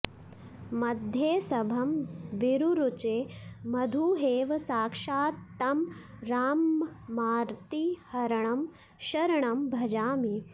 मध्येसभं विरुरुचे मधुहेव साक्षात् तं राममार्तिहरणं शरणं भजामि